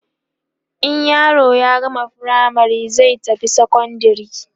in yaro ya gama firamare zai tafi sekondari